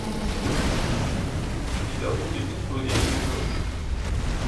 у тебя будет история игрушек